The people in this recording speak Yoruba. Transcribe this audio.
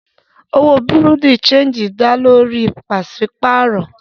Òwò bùrú dì séǹjì dá lórí owó pàṣípàrọ̀